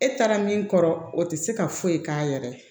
E taara min kɔrɔ o tɛ se ka foyi k'a yɛrɛ ye